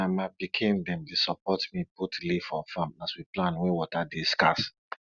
na my pikin dem dey support me put leaf for farm as we plan when water dey scarce